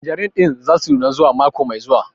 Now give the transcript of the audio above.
Tanjerin ɗin za su nuna zuwa mako mai zuwa